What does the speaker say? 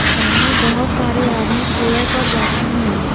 सामने बहुत सारे आदमी चेयर पर बैठे हैं।